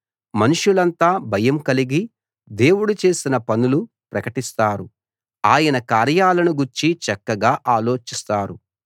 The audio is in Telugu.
మనుషులంతా భయం కలిగి దేవుడు చేసిన పనులు ప్రకటిస్తారు ఆయన కార్యాలను గూర్చి చక్కగా ఆలోచిస్తారు